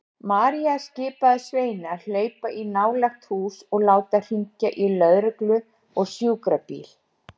María skipaði Sveini að hlaupa í nálægt hús og láta hringja í lögreglu og sjúkrabíl.